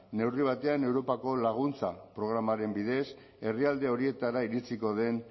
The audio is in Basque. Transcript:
neurri batean europako laguntza programaren bidez herrialde horietara iritsiko den